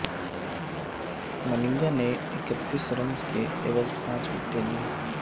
ملنگا نے اکتیس رنز کے عوض پانچ وکٹیں لیں